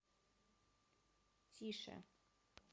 тише